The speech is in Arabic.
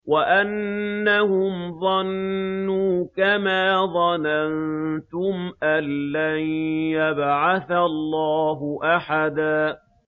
وَأَنَّهُمْ ظَنُّوا كَمَا ظَنَنتُمْ أَن لَّن يَبْعَثَ اللَّهُ أَحَدًا